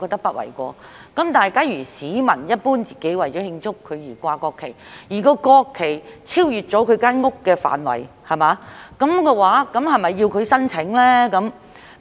但是，假如市民只是自己為了慶祝而懸掛國旗，而該國旗超越了他的房屋範圍，這樣是否要他提出申請呢？